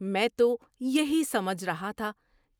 میں تو یہی سمجھ رہا تھا